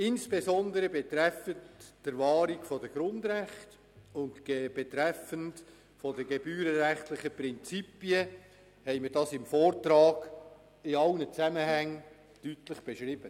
Insbesondere betreffend die Wahrung der Grundrechte und betreffend die gebührenrechtlichen Prinzipien haben wir dies im Vortrag in allen Zusammenhängen deutlich beschrieben.